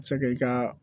A bɛ se ka i ka